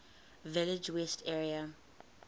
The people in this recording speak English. village west area